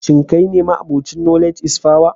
Shin kai ne ma'abocin knowledge is power?